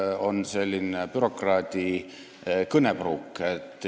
Põhjus on selline bürokraadi kõnepruuk.